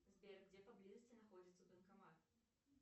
сбер где поблизости находится банкомат